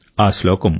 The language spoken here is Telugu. ఆ శ్లోకం